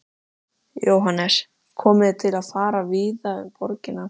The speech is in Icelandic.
Jóhannes: Komið þið til með að fara víða um borgina?